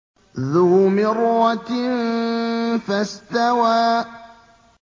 ذُو مِرَّةٍ فَاسْتَوَىٰ